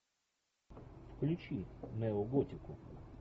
включи неоготику